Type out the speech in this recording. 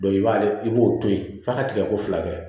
i b'a i b'o to yen f'a ka tigɛko fila kɛ